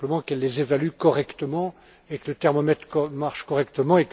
Il faut simplement qu'elles les évaluent correctement et que le thermomètre marche correctement.